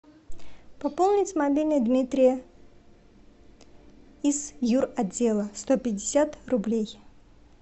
пополнить мобильный дмитрия из юротдела сто пятьдесят рублей